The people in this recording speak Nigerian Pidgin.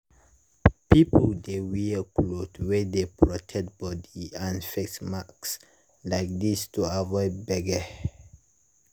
people dey wear cloth wey dey protect body and face mask like this to avoid gbege.